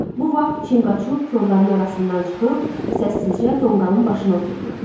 Bu vaxt Çinqaçuq kolların arasından çıxıb, səssizcə tonqalın başını oturdu.